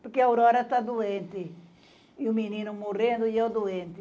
porque a Aurora está doente e o menino morrendo e eu doente.